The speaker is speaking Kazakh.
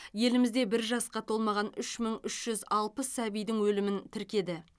елімізде бір жасқа толмаған үш мың үш жүз алпыс сәбидің өлімін тіркеді